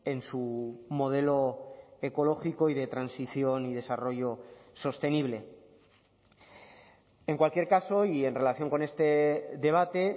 en su modelo ecológico y de transición y desarrollo sostenible en cualquier caso y en relación con este debate